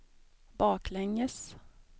baklänges